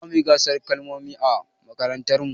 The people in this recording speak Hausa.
Zamuyi gasar kalmomi a mmakarantar mu